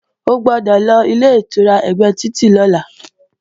O gbọ́dọ̀ lọ Ilé-ìtura ẹ̀gbẹ́ títì lọ́la!